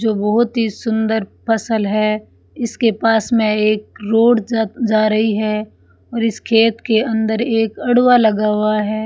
जो बहुत ही सुंदर फसल है इसके पास में एक रोड जा जा रही है और इस खेत के अंदर एक अडवा लगा हुआ है।